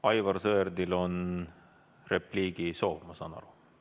Aivar Sõerdil on repliigisoov, ma saan aru.